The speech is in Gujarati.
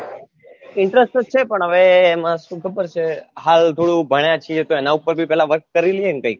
interest તો છે હવે પણ હવે એમાં સુ ખબર છે હાલ થોડું ભણ્યા છીએ તો એના પર ભી work કરી લિયે ને કયિક